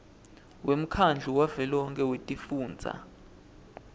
wemkhandlu wavelonkhe wetifundza